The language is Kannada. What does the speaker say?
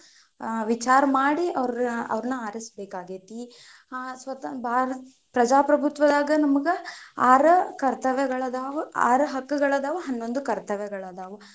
ವಿಚಾರ ಮಾಡಿ ಅವ್ರ್ನ ಆರಿಸಬೇಕಾಗೇತಿ, ಪ್ರಜಾಪ್ರಭುತ್ವದಾಗ ನಮಗ ಆರ್ ಕರ್ತವ್ಯಗಳಾದಾವು, ಆರ್ ಹಕ್ಕಗಳು ಅದಾವ್, ಹನ್ನೊಂದು ಕರ್ತವ್ಯಗಳು ಅದಾವು.